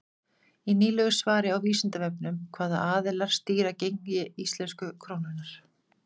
í nýlegu svari á vísindavefnum hvaða aðilar stýra gengi íslensku krónunnar